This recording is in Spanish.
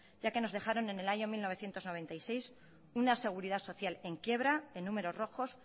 ya que nos dejaron en el año mil novecientos noventa y seis una seguridad social en quiebra en números rojos